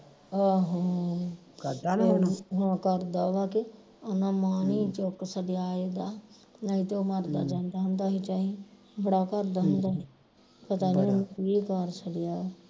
ਆਹੋ ਕਰਦਾ ਵਾ ਕਿ ਉਹਨਾਂ ਮਾਣ ਨਹੀਂ ਚੁੱਕ ਸਕਿਆ ਇਹਦਾ ਨਹੀ ਤੇ ਉਹ ਮਰਦਾ ਹੁੰਦਾ ਹੀ ਚਾਈਂ ਬੜਾ ਕਰਦਾ ਹੁੰਦਾ ਹੀ ਪਤਾ ਨੀ ਉਹਨੂੰ ਕੀ ਕਰ ਛੱਡਿਆ